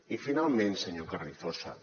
i finalment senyor carrizosa